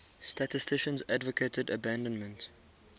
statisticians advocated abandonment